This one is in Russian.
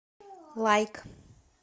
лайк